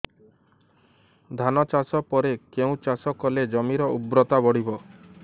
ଧାନ ଚାଷ ପରେ କେଉଁ ଚାଷ କଲେ ଜମିର ଉର୍ବରତା ବଢିବ